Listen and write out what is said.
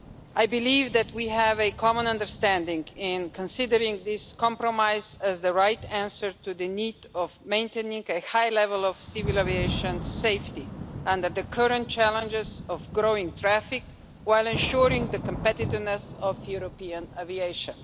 I believe that we have a common understanding in considering this compromise as the right answer to the need to maintain a high level of civil aviation safety under the current challenges of growing traffic, while ensuring the competitiveness of European aviation.